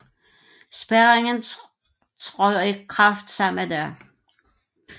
Spærringen træder i kraft samme dag